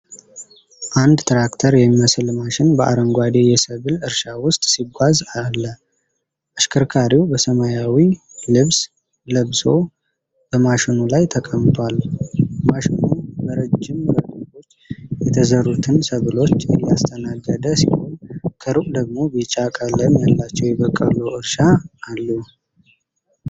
አንድ ትራክተር የሚመስል ማሽን በአረንጓዴ የሰብል እርሻ ውስጥ ሲጓዝ አለ። አሽከርካሪው በሰማያዊ ልብስ ለብሶ በማሽኑ ላይ ተቀምጧል። ማሽኑ በረዥም ረድፎች የተዘሩትን ሰብሎች እያስተናገደ ሲሆን፣ ከሩቅ ደግሞ ቢጫ ቀለም ያለው የበቆሎ እርሻ አለ።